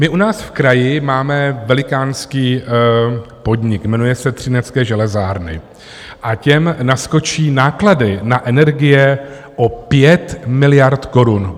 My u nás v kraji máme velikánský podnik, jmenuje se Třinecké železárny a těm naskočí náklady na energie o 5 miliard korun.